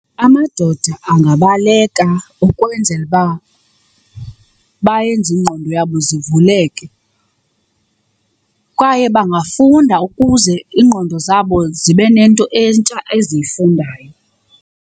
Amadoda angabaleka ukwenzela uba bayenze ingqondo yabo zivuleke kwaye bangafunda ukuze iingqondo zabo zibe nento entsha eziyifundayo.